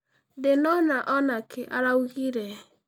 Ndĩnona onakĩ araugire.